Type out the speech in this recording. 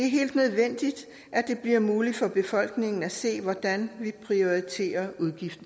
bliver muligt for befolkningen at se hvordan vi prioriterer